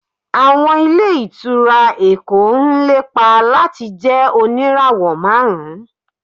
Àwọn ilé ìtura ní Èkó ń lépa láti jẹ oníràwọ̀ márùn-ún.